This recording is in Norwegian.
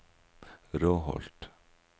Råholt